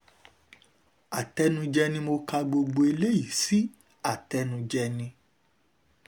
àtẹnujẹ ni mo ka gbogbo eléyìí sí àtẹnujẹ ni